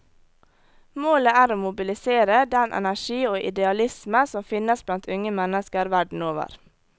Målet er å mobilisere den energi og idealisme som finnes blant unge mennesker verden over.